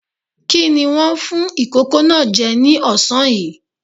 Kí ni wọ́n fún ìkókó náà jẹ ní ọ̀sán yìí?